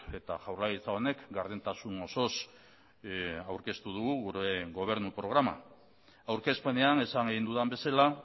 eta jaurlaritza honek gardentasun osoz aurkeztu dugu gure gobernu programa aurkezpenean esan egin dudan bezala